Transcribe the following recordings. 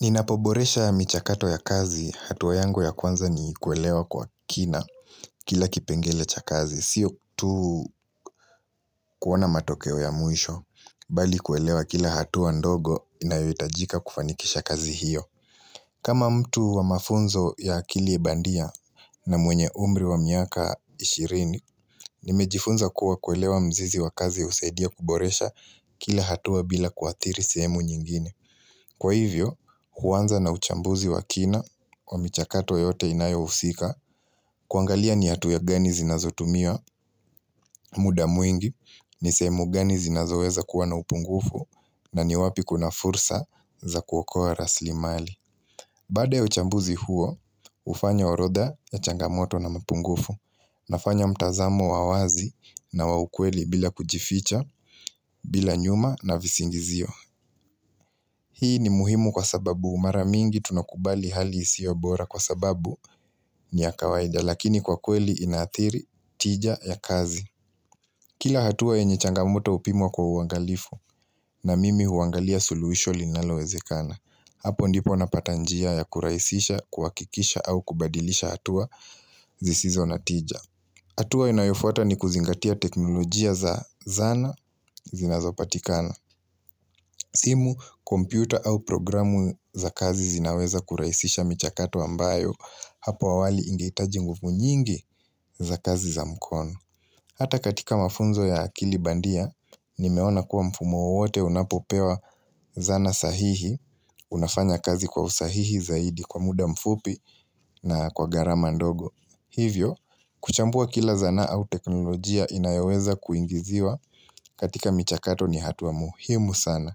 Ninapoboresha michakato ya kazi hatuwa yangu ya kwanza ni kuelewa kwa kina kila kipengele cha kazi. Siyo tu kuona matokeo ya mwisho, bali kuelewa kila hatua ndogo inayoitajika kufanikisha kazi hiyo. Kama mtu wa mafunzo ya akili bandia na mwenye umri wa miaka ishirini, nimejifunza kuwa kuelewa mzizi wa kazi husaidia kuboresha kila hatua bila kuathiri sehemu nyingine. Kwa hivyo, huanza na uchambuzi wa kina wa michakato yote inayo husika kuangalia ni hatua gani zinazotumia muda mwingi, ni sehemu gani zinazoweza kuwa na upungufu na ni wapi kuna fursa za kuokoa rasli mali. Bada ya uchambuzi huo, hufanya horodha ya changamoto na mapungufu, nafanya mtazamo wa wazi na wa ukweli bila kujificha, bila nyuma na visingizio. Hii ni muhimu kwa sababu mara mingi tunakubali hali isiyo bora kwa sababu ni ya kawaida lakini kwa kweli inaathiri tija ya kazi. Kila hatua yenye changamuto hupimwa kwa uangalifu na mimi huangalia suluhisho linalowezekana. Hapo ndipo napatanjia ya kurahisisha, kuhakikisha au kubadilisha hatua zisizo na tija. Hatua inayofuata ni kuzingatia teknolojia za zana zinazopatikana. Simu, kompyuta au programu za kazi zinaweza kurahisisha michakato ambayo hapo awali ingeitaji nguvu nyingi za kazi za mkono. Hata katika mafunzo ya akili bandia, nimeona kuwa mfumo wowote unapopewa zana sahihi, unafanya kazi kwa usahihi zaidi kwa muda mfupi na kwa garama ndogo. Hivyo, kuchambua kila zana au teknolojia inayoweza kuingiziwa katika michakato ni hatua muhimu sana.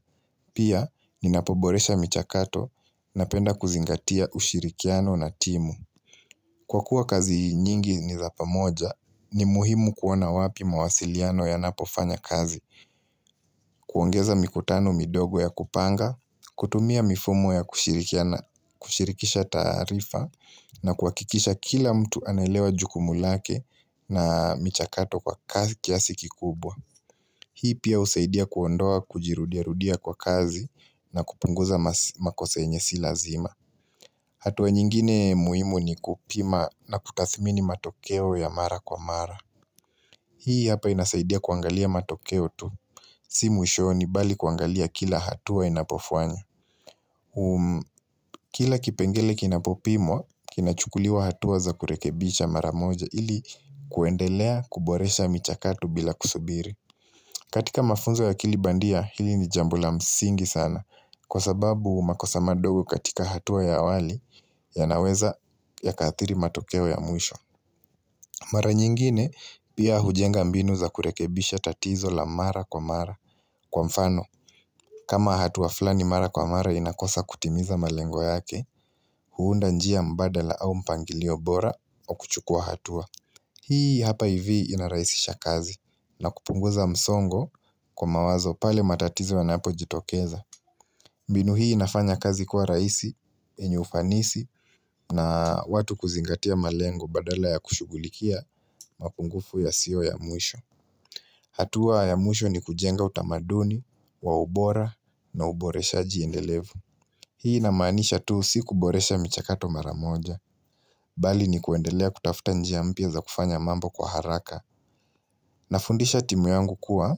Pia, ninapoboresha michakato napenda kuzingatia ushirikiano na timu. Kwa kuwa kazi nyingi ni zapamoja, ni muhimu kuona wapi mawasiliano yanapofanya kazi, kuongeza mikotano midogo ya kupanga, kutumia mifumo ya kushirikisha taarifa na kuhakikisha kila mtu anaelewa jukumu lake na michakato kwa kiasi kikubwa. Hii pia husaidia kuondoa kujirudia rudia kwa kazi na kupunguza makosa yenye si lazima hatua nyingine muhimu ni kupima na kutathimini matokeo ya mara kwa mara Hii hapa inasaidia kuangalia matokeo tu Si mwishoni bali kuangalia kila hatua inapofanya Kila kipengele kinapopimwa kinachukuliwa hatua za kurekebisha mara moja ili kuendelea kuboresha michakato bila kusubiri katika mafunzo ya akili bandia hili ni jambo la msingi sana kwa sababu makosa madogo katika hatua ya awali yanaweza yakaathiri matokeo ya mwisho. Mara nyingine pia hujenga mbinu za kurekebisha tatizo la mara kwa mara kwa mfano kama hatua flani mara kwa mara inakosa kutimiza malengo yake huunda njia mbadala au mpangilio bora kwa kuchukua hatua. Hii hapa hivi inarahisisha kazi na kupunguza msongo kwa mawazo pale matatizo yanapo jitokeza. Mbinu hii inafanya kazi kwa rahisi, yenye ufanisi na watu kuzingatia malengo badala ya kushugulikia mapungufu yasiyo ya mwisho. Hatua ya mwisho ni kujenga utamaduni, wa ubora na uboreshaji endelevu. Hii na maanisha tu si kuboresha michakato maramoja Bali ni kuendelea kutafuta njia mpya za kufanya mambo kwa haraka na fundisha timu yangu kuwa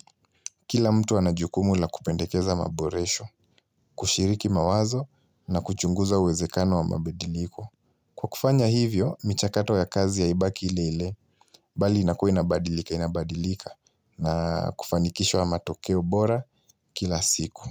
Kila mtu anajukumu la kupendekeza maboresho kushiriki mawazo na kuchunguza uwezekano wa mabadiliko Kwa kufanya hivyo, michakato ya kazi haibaki ile ile Bali inakuwa inabadilika inabadilika na kufanikishwa matokeo bora kila siku.